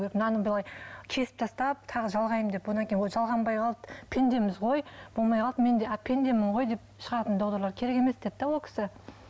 кесіп тастап тағы жалғаймын деп одан кейін ол жалғанбай қалып пендеміз ғой болмай қалды мен де пендемін ғой деп шығатын докторлар керек емес деді де ол кісі